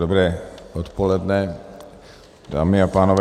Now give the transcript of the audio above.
Dobré odpoledne, dámy a pánové.